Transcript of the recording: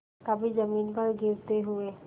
कभी जमीन पर गिरते हुए